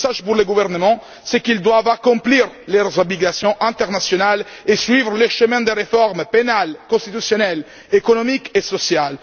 Le message au gouvernement, c'est qu'il doit accomplir ses obligations internationales et suivre le chemin des réformes pénales, constitutionnelles, économiques et sociales.